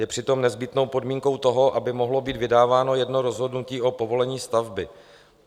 Je přitom nezbytnou podmínkou toho, aby mohlo být vydáváno jedno rozhodnutí o povolení stavby.